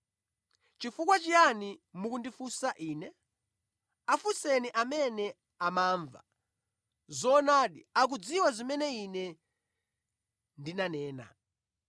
Nʼchifukwa chiyani mukundifunsa Ine? Afunseni amene amamva. Zoonadi akudziwa zimene Ine ndinanena.”